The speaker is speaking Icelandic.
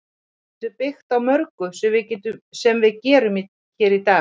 Við getum byggt á mörgu sem við gerum hér í dag.